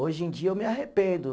Hoje em dia, eu me arrependo.